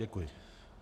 Děkuji.